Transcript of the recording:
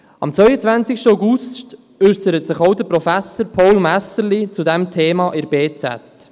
Am 21. August äusserte sich auch Professor Paul Messerli zu diesem Thema in der «BZ».